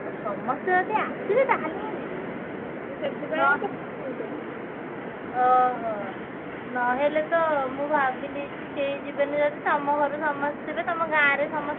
ଆଉ ସମସ୍ତ ଯଦି ଆସିବେ ମୁଁ ଯିବି ମୁଁ ସେଥିପାଇଁ କହୁଥିଲି। ଓହୋ, ନହେଲେ ତ ମୁଁ ଭାବିଲି କି କେହି ଯିବେନି ବୋଲି ତମ ଘରୁ ସମସ୍ତେ ଥିବେ ତମ ଗାଁ ରେ ସମସ୍ତେ ଥିବେ